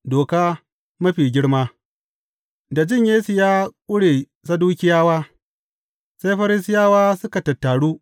Doka mafi girma Da jin Yesu ya ƙure Sadukiyawa, sai Farisiyawa suka tattaru.